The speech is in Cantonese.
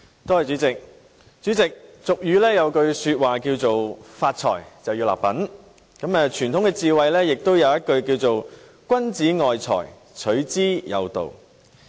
主席，俗語有云："發財立品"，而傳統智慧也說："君子愛財，取之有道"。